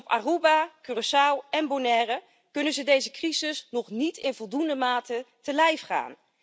Op Aruba, Curaçao en Bonaire kunnen ze deze crisis nog niet in voldoende mate te lijf gaan.